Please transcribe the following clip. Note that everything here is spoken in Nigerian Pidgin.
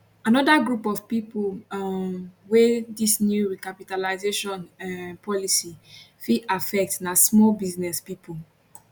anoda group of pipo um wey dis new recapitalisation um policy fit affect na small business pipo